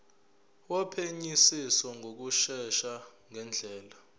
wophenyisiso ngokushesha ngendlela